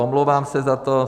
Omlouvám se za to.